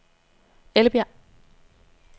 Ellebjerg